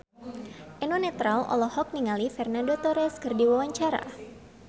Eno Netral olohok ningali Fernando Torres keur diwawancara